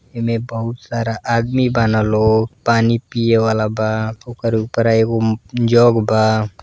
एमे बहुत सारा आदमी बान लो। पानी पिए वाला बा ओकर उपरा एगो म् जग बा।